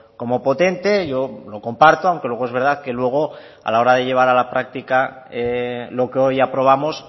como potente yo lo comparto aunque luego es verdad que luego a la hora de llevar a la práctica lo que hoy aprobamos